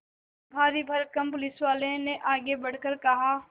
भारीभरकम पुलिसवाले ने आगे बढ़कर कहा